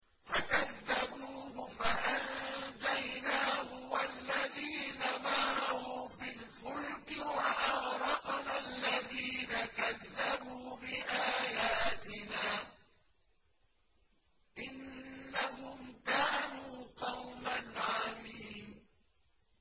فَكَذَّبُوهُ فَأَنجَيْنَاهُ وَالَّذِينَ مَعَهُ فِي الْفُلْكِ وَأَغْرَقْنَا الَّذِينَ كَذَّبُوا بِآيَاتِنَا ۚ إِنَّهُمْ كَانُوا قَوْمًا عَمِينَ